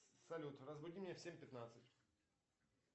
салют разбуди меня в семь пятнадцать